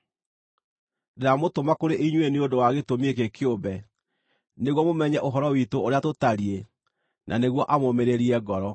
Ndĩramũtũma kũrĩ inyuĩ nĩ ũndũ wa gĩtũmi gĩkĩ kĩũmbe, nĩguo mũmenye ũhoro witũ ũrĩa tũtariĩ, na nĩguo amũũmĩrĩrie ngoro.